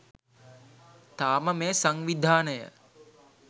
තාම මේ සංවිධානය